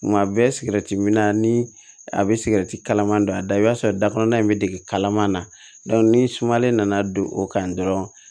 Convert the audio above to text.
Nka bɛ sigɛrɛti minna ni a bɛ sigɛrɛti kalama a da i b'a sɔrɔ dakɔrɔnan in bɛ dege kalaman na ni sumalen nana don o kan dɔrɔn